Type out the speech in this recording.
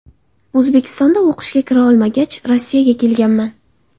O‘zbekistonda o‘qishga kira olmagach Rossiyaga kelganman.